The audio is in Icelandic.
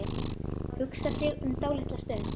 Hugsar sig um dálitla stund.